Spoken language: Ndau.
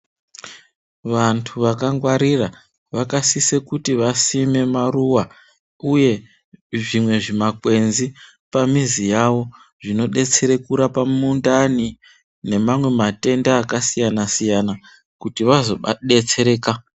Vantu vakangwarira vakasise kuti vasime maruwa, uye zvimwe zvimakwenzi pamizi yawo zvinodetsera kurape mundani nemamwe matenda akasiyana-siyana kuti vazodetsereka.